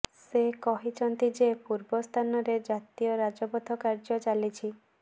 ସେ କହିଛନ୍ତି ଯେ ପୂର୍ବ ସ୍ଥାନରେ ଜାତୀୟ ରାଜପଥ କାର୍ଯ୍ୟ ଚାଲିଛି